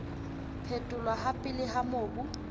phetholwa ha pele ha mobu